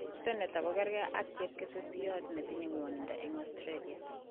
Senator kogakergeit ak chepkesesiot netinye ngwonindo eng Australia.